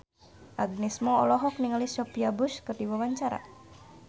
Agnes Mo olohok ningali Sophia Bush keur diwawancara